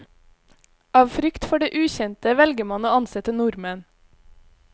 Av frykt for det ukjente, velger man å ansette nordmenn.